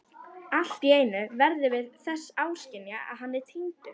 Alltíeinu verðum við þess áskynja að hann er týndur.